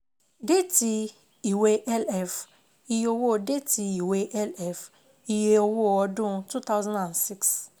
Déètì ìwé LF iye owó déètì ìwé LF iye owó ọdún two thousand and six